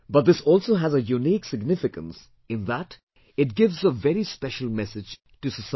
But this also has a unique significance in that it gives a very special message to society